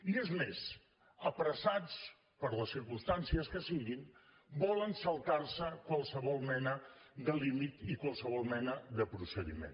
i és més apressats per les circumstàncies que siguin volen saltar se qualsevol mena de límit i qualsevol mena de procediment